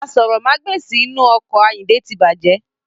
Aṣórómagbesìn inu ọkọ̀ ayinde tí bàjẹ́.